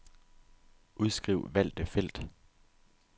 Udskriv valgte felt.